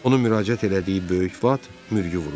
Onun müraciət elədiyi böyük vat mürgü vururdu.